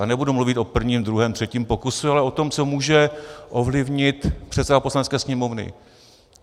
A nebudu mluvit o prvním, druhém, třetím pokusu, ale o tom, co může ovlivnit předseda Poslanecké sněmovny.